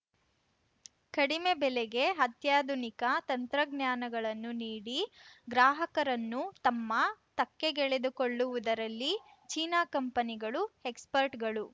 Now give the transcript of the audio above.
ಕಡಿಮೆ ಬೆಲೆಗೆ ಅತ್ಯಾಧುನಿಕ ತಂತ್ರಜ್ಞಾನಗಳನ್ನು ನೀಡಿ ಗ್ರಾಹಕರನ್ನು ತಮ್ಮ ತೆಕ್ಕೆಗೆಳೆದುಕೊಳ್ಳುವುದರಲ್ಲಿ ಚೀನಾ ಕಂಪನಿಗಳು ಎಕ್ಸ್‌ಪರ್ಟ್‌ಗಳು